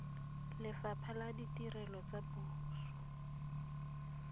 lefapha la ditirelo tsa puso